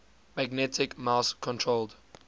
magnetic mouse controlled